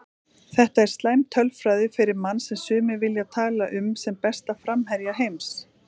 Þetta er slæm tölfræði fyrir mann sem sumir vilja tala um sem besta framherja heims.